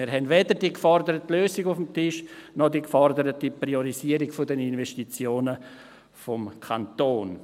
Wir haben weder die geforderte Lösung auf dem Tisch noch die geforderte Priorisierung der Investitionen des Kantons.